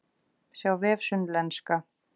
Sjá vef Sunnlenska